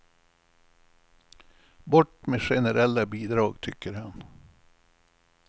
Bort med generella bidrag, tycker han.